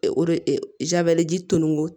E o de tumuko